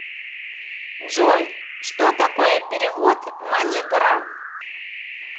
джой что такое перевод маниграм